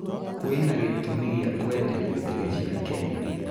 Kwina gitũmi gia kuenderio Ndege cia Kenya